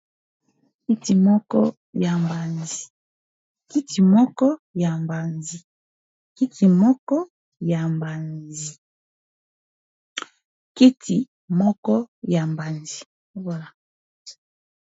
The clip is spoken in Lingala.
Kiti moko ya mbanzi.